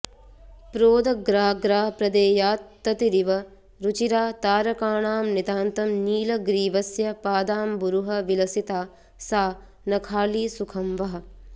प्रोदग्राग्रा प्रदेयात्ततिरिव रुचिरा तारकाणां नितान्तं नीलग्रीवस्य पादाम्बुरुहविलसिता सा नखाली सुखं वः